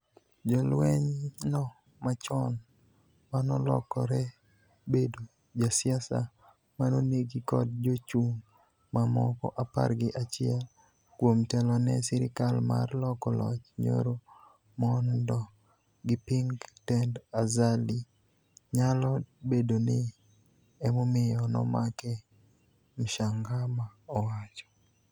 Jalwenyno machon manolokore bedo jasiasa manonegi kod jochung mamoko apar gi achiel kuom telone sirikal mar loko loch nyoro mondo giping tend Azali nyalo bedoni emomiyo nomake, Mshangama owacho.